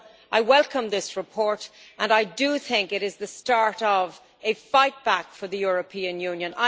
I welcome this report and I think it is the start of a fight back for the European Union.